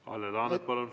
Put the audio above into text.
Kalle Laanet, palun!